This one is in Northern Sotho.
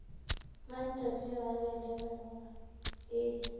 mantefo yo a belegwego e